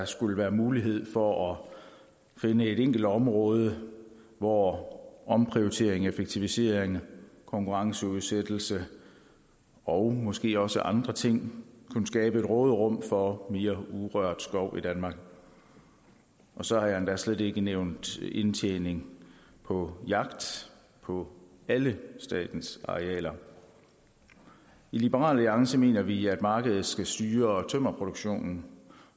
skulle være mulighed for at finde et enkelt område hvor omprioritering effektivisering konkurrenceudsættelse og måske også andre ting kunne skabe et råderum for mere urørt skov i danmark så har jeg endda slet ikke nævnt indtjening på jagt på alle statens arealer i liberal alliance mener vi at markedet skal styre tømmerproduktionen